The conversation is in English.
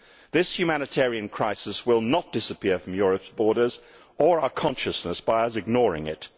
This humanitarian crisis will not disappear from Europe's borders or our consciousness by us ignoring it.